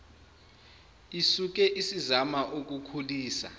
isuke isizama ukukhulisa